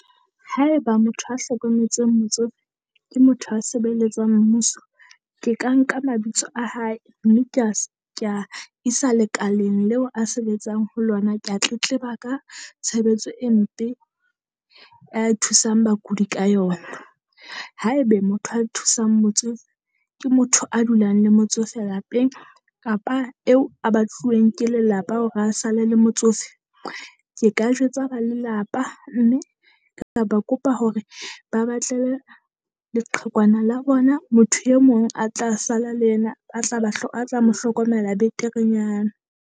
Haeba motho a hlokometseng motsofe ke motho a sebeletsang mmuso. Ke ka nka mabitso a hae, mme kea kea isa lekaleng leo a sebetsang ho lona. Kea tletleba ka tshebetso e mpe a thusang bakudi ka yona. Haebe motho a thusang motsofe ke motho a dulang le motsofe lapeng kapa eo a bahluweng ke lelapa ho a sale le motsofe. Ke ka jwetsa ba lelapa mme ka ba kopa hore ba batlele leqhekwana la bona motho e mong a tla sala le yena, a tla ba a tla mohlokomela beterenyana.